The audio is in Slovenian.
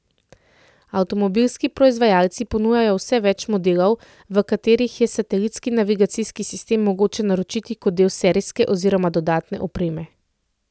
Avtomobilski proizvajalci ponujajo vse več modelov, v katerih je satelitski navigacijski sistem mogoče naročiti kot del serijske oziroma dodatne opreme.